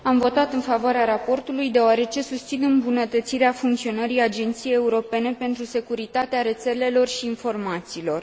Am votat în favoarea raportului, deoarece susțin îmbunătățirea funcționării Agenției Europene pentru Securitatea Rețelelor și a Informațiilor.